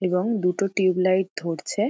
এবং দুটো tube light ধরছে ।